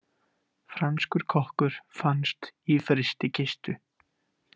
Franskur kokkur fannst í frystikistu